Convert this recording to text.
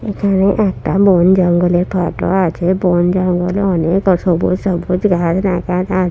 এখানে একটা বন জঙ্গলের ফটো আছে বন জঙ্গলে অনেক অসংখ্য সবুজ ঘাস দেখা যা--